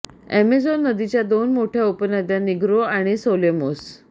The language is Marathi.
अॅमेझॉन नदीच्या दोन मोठय़ा उपनद्या निग्रो आणि सोलेमोस